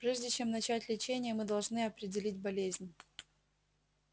прежде чем начать лечение мы должны определить болезнь